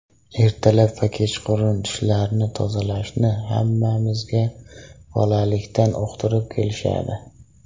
Ertalab va kechqurun tishlarni tozalashni hammamizga bolalikdan uqtirib kelishadi.